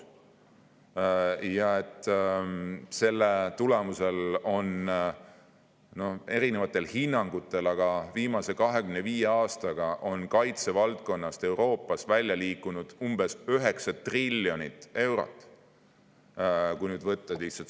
Seetõttu on eri hinnangutel viimase 25 aastaga kaitsevaldkonnast Euroopas välja liikunud umbes 9 triljonit eurot.